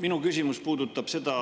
Minu küsimus puudutab seda